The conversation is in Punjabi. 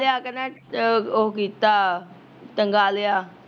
ਲਿਆ ਕੇ ਨਾ, ਉਹ ਕੀਤਾ, ਟੰਗਾਂ ਲਿਆ